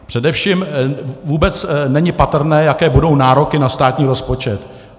Především vůbec není patrné, jaké budou nároky na státní rozpočet.